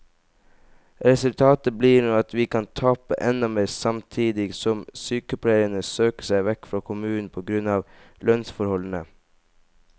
Resultatet blir nå at vi kan tape enda mer, samtidig som sykepleierne søker seg vekk fra kommunen på grunn av lønnsforholdene.